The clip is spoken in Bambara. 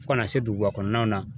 Fo kana se duguba kɔnɔnaw na.